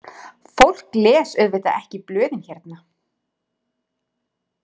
Fólk les auðvitað ekki blöðin hérna.